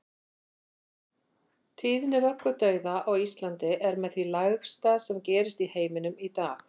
Tíðni vöggudauða á Íslandi er með því lægsta sem gerist í heiminum í dag.